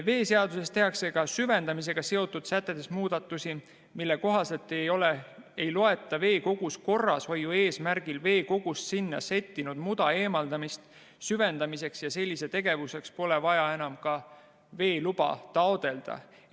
Veeseaduses tehakse muudatusi ka süvendamisega seotud sätetes, mille kohaselt ei loeta veekogu korrashoiu eesmärgil sinna settinud muda eemaldamist süvendamiseks ja selliseks tegevuseks pole vaja enam ka veeluba taotleda.